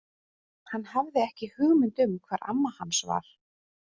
Hann hafði ekki hugmynd um hvar amma hans var.